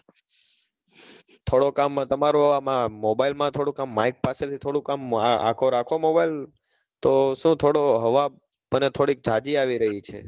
થોડુક આમ તમારું આમાં mobile માં થોડુક આમ mike પાસે થોડુક આમ આગો રાખો mobile તો શું થોડું હવા મને થોડીક જાજી આવી રહી છે.